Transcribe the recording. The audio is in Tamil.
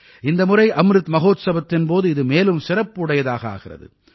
இந்த முறை அம்ருத் மகோத்சவத்தின் போது இது மேலும் சிறப்பு உடையதாக ஆகின்றது